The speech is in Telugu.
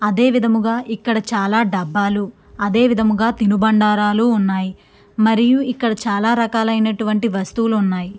అదే విధముగా ఇక్కడ చాలా డబ్బాలు అదే విధముగా తిను బండారాలు ఉన్నాయ్ మరియు ఇక్కడ చాలా రకాలైనటువంటి వస్తువులు ఉన్నాయ్ .